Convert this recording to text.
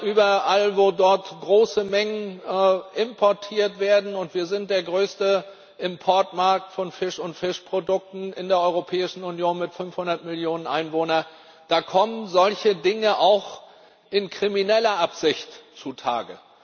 Überall, wo große Mengen importiert werden und wir sind der größte Importmarkt von Fisch und Fischprodukten in der Europäischen Union mit 500 Millionen Einwohnern kommen solche Dinge auch in krimineller Absicht zutage.